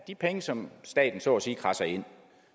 de penge som staten så at sige kradser ind